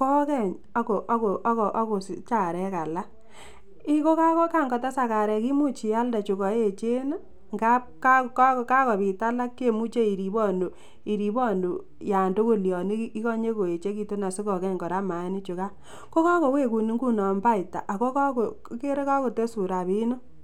kokeny ak kosich areek alak, ak yekang'otesak arek imuch ialde chukoechen ng'ab kakobit alak chemuche iribonu, iribonu yoon tukul yoon ikonye koechekitun asikokeny kora mainichukan, ko kokowekun ing'unon baita ak ko ikeree kokotesun rabinik.